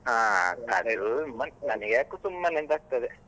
ಹಾ ಅದೇನೂ ನಂಗ್ಯಾಕೋ ಸುಮ್ಮನೆ ಅಂತ ಆಗ್ತದೆ.